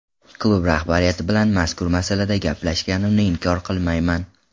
Klub rahbariyati bilan mazkur masalada gaplashganimni inkor qilmayman.